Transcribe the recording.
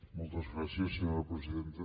moltes gràcies senyora presidenta